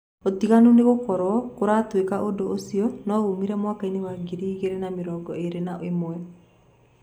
ũtinganu ni gũkoro kuratuika ũndũ ũcio no wumire mwakaini wa ngiri igĩri na mĩrongo irĩ na ĩmwe